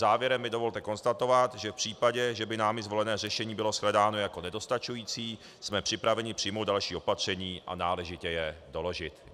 Závěrem mi dovolte konstatovat, že v případě, že by námi zvolené řešení bylo shledáno jako nedostačující, jsme připraveni přijmout další opatření a náležitě je doložit.